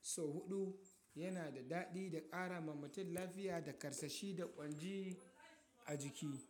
sau huɗu yana da daɗi da ƙara ma mutum lafiya da karsashi da ƙwanji a jiki.